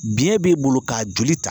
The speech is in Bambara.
Biɲɛ b'e bolo k'a joli ta